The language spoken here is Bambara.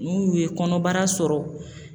N'u ye kɔnɔbara sɔrɔ